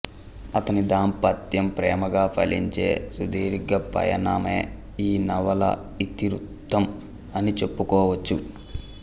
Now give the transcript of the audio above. అతని దాంపత్యం ప్రేమగా ఫలించే సుదీర్ఘ పయనమే ఈ నవల ఇతివృత్తం అని చెప్పుకోవచ్చు